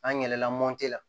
An yɛlɛla la